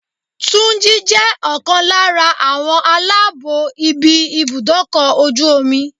Túnjí jẹ́ ọ̀kan lára àwọn aláàbó ibi ibùdó ọkọ̀ ojú omi.